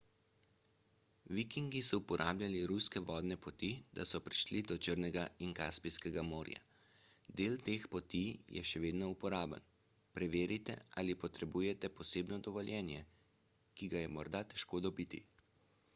vikingi so uporabljali ruske vodne poti da so prišli do črnega in kaspijskega morja del teh poti je še vedno uporaben preverite ali potrebujete posebno dovoljenje ki ga je morda težko dobiti